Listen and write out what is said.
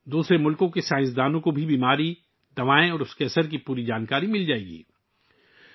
دوسرے ممالک کے سائنس داں بھی اس بیماری، ادویات اور ان کے اثرات کے بارے میں مکمل معلومات حاصل کریں گے